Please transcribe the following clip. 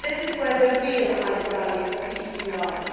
This is where the real added value of the EU lies.